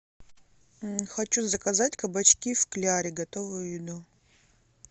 хочу заказать кабачки в кляре готовую еду